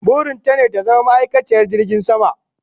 Burin ta ne ta zama ma'aikaciyar jirgin sama